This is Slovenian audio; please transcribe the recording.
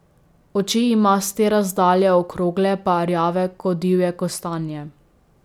Oči ima s te razdalje okrogle pa rjave ko divje kostanje.